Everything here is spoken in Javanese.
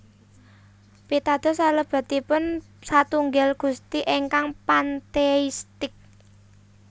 Pitados salebetipun satunggil Gusti ingkang pantheistik